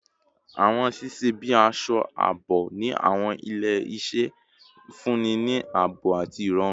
Iwoye ṣiṣẹ bi aṣọ aabo ni awọn ile-iṣẹ, nfunni ni aabo ati irọrun